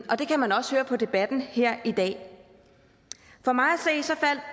og det kan man også høre på debatten her i dag for mig